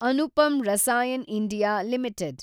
Anupam Rasayan India limited